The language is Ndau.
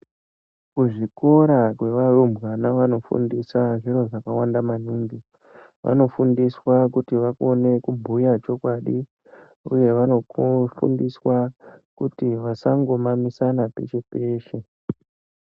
Kuzvikora kwevarumbwana vanofundisa zviro zvakawanda maningi. Vanofundiswa kuti vakone kubhuya chokwadi uye vanofundiswa kuti vasangomamisana peshe -peshe.